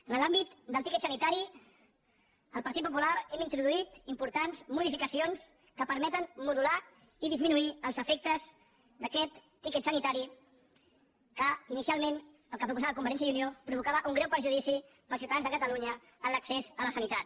en l’àmbit del tiquet sanitari el partit popular hem introduït importants modificacions que permeten modular i disminuir els efectes d’aquest tiquet sanitari que inicialment el que proposava convergència i unió provocava un greu perjudici per als ciutadans de catalunya en l’accés a la sanitat